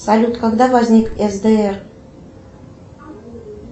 салют когда возник сдр